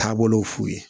Taabolow f'u ye